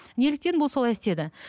неліктен бұл солай істеді